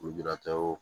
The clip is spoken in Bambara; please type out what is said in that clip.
Lujuratɔw